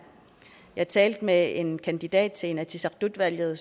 jeg talte med en kandidat til inatsisartut valget